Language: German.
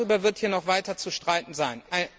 Darüber wird hier noch weiter zu streiten sein.